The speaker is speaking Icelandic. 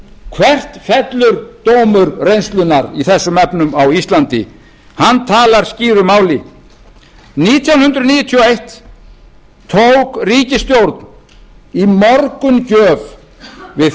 hvert fellur dómur reynslunnar í þessum efnum á íslandi hann talar skýru máli nítján hundruð níutíu og eitt tók ríkisstjórn í morgungjöf við